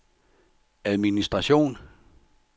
administration